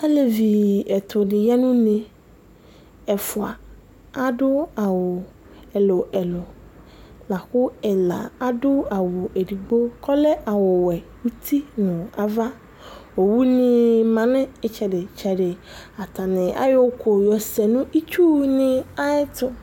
alevi ɛtʊdɩ ya nʊ une, ɛfua adʊ awu ɛluɛlu lakʊ ɛla adʊ awu edigbo kɔlɛ awu wɛ utinava, owu nɩ ma nʊ itsɛdɩtsɛdɩ, atanɩ ayɔ ʊkʊ yɔ sɛ nʊ itsunɩ ayɛtu